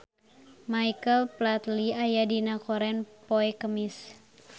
Michael Flatley aya dina koran poe Kemis